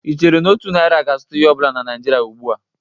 Ị chere na ọhụ naịra ga-azụta ihe ọ bụla na Nịajịrịa ugbu a?